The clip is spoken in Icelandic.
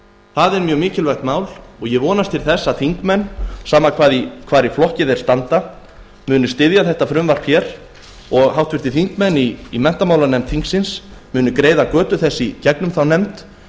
þetta er mjög mikilvægt mál og ég vonast til að þingmenn sama hvar í flokki þeir standa muni styðja frumvarpið og háttvirtir þingmenn í menntamálanefnd þingsins greiða götu þess í gegnum þá nefnd